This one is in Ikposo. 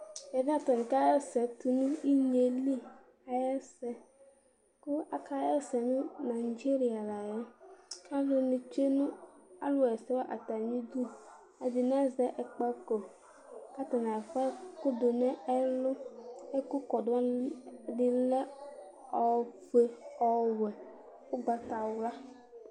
Ɛvɛ atanɩ kaɣa ɛsɛ tʋ nʋ inye yɛ li ayʋ ɛsɛ kʋ aɣa ɛsɛ nʋ nadzeria la yɛ kʋ alʋnɩ tsue nʋ alʋɣa ɛsɛ wanɩ atamɩdu Ɛdɩnɩ azɛ ɛkpako kʋ atanɩ akɔ ɛkʋ dʋ nʋ ɛlʋ Ɛkʋkɔdʋ wanɩ, ɛdɩnɩ lɛ ofue, ɔwɛ, ʋgbatawla